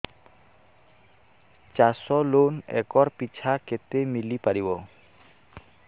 ଚାଷ loan acre ପିଛା କେତେ ମିଳି ପାରିବ